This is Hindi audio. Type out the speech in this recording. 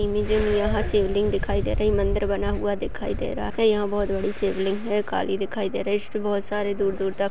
यहाँ शिवलिंग दिखाई दे रही है मंदिर बना हुआ दिखाई दे रहा है यहाँ बहुत बड़ी शिवलिंग है काली दिखाई दे रही है इसपे बहुत सारे दूर-दूर तक--